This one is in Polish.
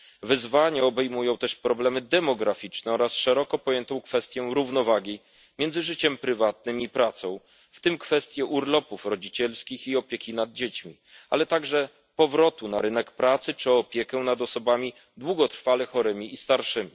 Wyzwania obejmują też problemy demograficzne oraz szeroko pojętą równowagę między życiem prywatnym i pracą, w tym kwestię urlopów rodzicielskich i opieki nad dziećmi, ale także powrotu na rynek pracy czy opieki nad osobami długotrwale chorymi i starszymi.